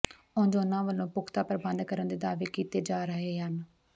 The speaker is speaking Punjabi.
ਉਂਝ ਉਨ੍ਹਾਂ ਵੱਲੋਂ ਪੁਖਤਾ ਪ੍ਰਬੰਧ ਕਰਨ ਦੇ ਦਾਅਵੇ ਕੀਤੇ ਜਾ ਰਹੇ ਹਨ